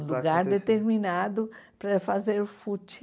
Um lugar determinado para fazer footing.